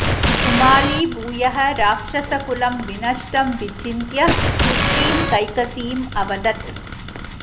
सुमाली भूयः राक्षसकुलं विनष्टं विचिन्त्य पुत्रीं कैकसीम् अवदत्